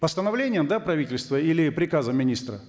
постановлением да правительства или приказом министра